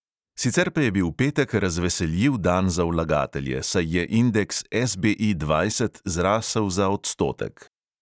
Sicer pa je bil petek razveseljiv dan za vlagatelje, saj je indeks SBI dvajset zrasel za odstotek.